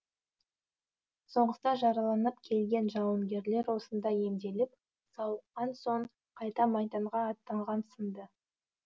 соғыста жараланып келген жауынгерлер осында емделіп сауыққан соң қайта майданға аттанған сынды